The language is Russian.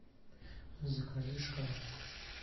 закажи шоколадку